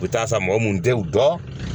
U bɛ taa san mɔgɔ mun tɛ u dɔn